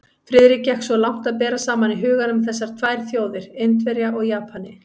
Friðrik gekk svo langt að bera saman í huganum þessar tvær þjóðir, Indverja og Japani.